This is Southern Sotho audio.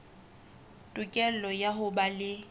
tokelo ya ho ba le